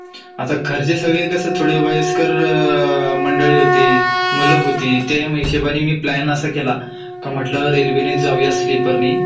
आता घरचे सगळे कसं थोडे वयस्कर मंडळी होती , मुलं होती त्या हिशोबाने मी प्लॅन असा केला का म्हटलं रेल्वे नीच जाऊया स्लीपर नी